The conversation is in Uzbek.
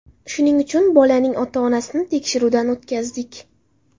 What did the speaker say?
Shuning uchun, bolaning ota-onasini tekshiruvdan o‘tkazdik.